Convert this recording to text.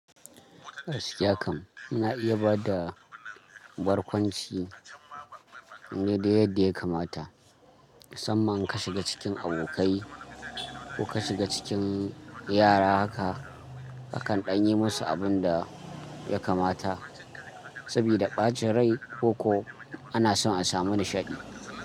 Gaskiya kam ana iya bada barkwanci ne duk yadda ya kamata. Musamman ka shiga cikin abokai ko ka shiga cikin yara haka kakan ɗan yi musu abun da ya kamata sabida ɓacin rai ko ko ana son a samu nishaɗi.